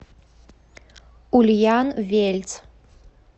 ульян вельц